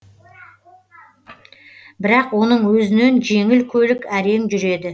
бірақ оның өзінен жеңіл көлік әрең жүреді